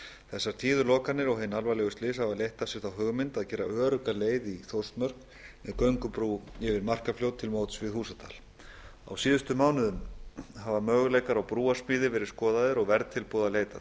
þessar tíðu lokanir og hin alvarlegu slys hafa leitt af sér þá hugmynd að gera örugga leið í þórsmörk með göngubrú yfir markarfljót til móts við húsadal á síðustu mánuðum hafa möguleikar á brúarsmíði verið skoðaðir og verðtilboða leitað